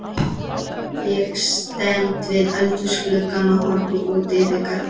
Ég stend við eldhúsgluggann og horfi út yfir garðana.